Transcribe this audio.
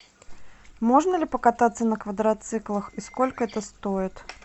можно ли покататься на квадроциклах и сколько это стоит